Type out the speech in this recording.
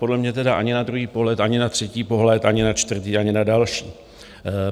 Podle mě tedy ani na druhý pohled, ani na třetí pohled, ani na čtvrtý, ani na další.